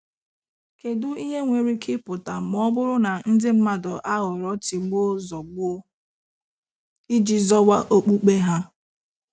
Kedụ ihe nwere ike ịpụta ma ọ bụrụ na ndị mmadụ aghọrọ tigbuo-zọgbuo iji zọwa okpukpe ha?